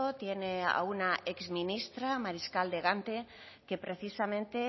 tiene a una exministra mariscal de gante que precisamente